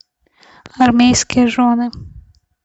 армейские жены